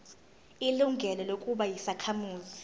ilungelo lokuba yisakhamuzi